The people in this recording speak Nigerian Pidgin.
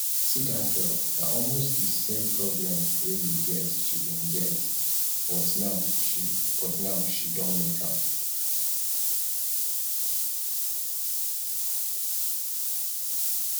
see dat girl na almost the same problem wey you get she bin get but now she but now she don make am